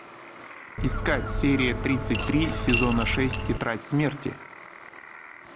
искать серия тридцать три сезона шесть тетрадь смерти